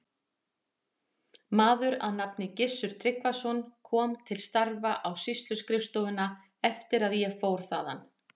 Maður að nafni Gissur Tryggvason kom til starfa á sýsluskrifstofuna eftir að ég fór þaðan.